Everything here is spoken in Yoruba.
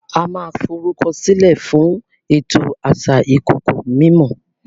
o ma forukọsilẹ fún ètò asà ikoko mimó